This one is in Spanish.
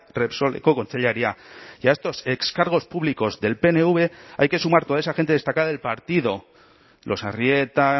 repsoleko kontseilaria y a estos ex cargos públicos del pnv hay que sumar toda esa gente destacada del partido los arrieta